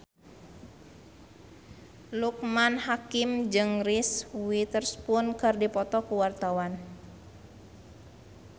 Loekman Hakim jeung Reese Witherspoon keur dipoto ku wartawan